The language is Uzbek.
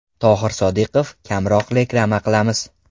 Tohir Sodiqov: Kamroq reklama qilamiz.